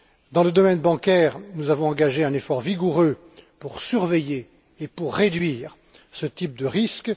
Dans le domaine bancaire, nous avons engagé un effort vigoureux pour surveiller et pour réduire ce type de risque.